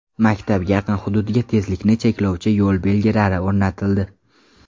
Maktabga yaqin hududga tezlikni cheklovchi yo‘l belgilari o‘rnatildi.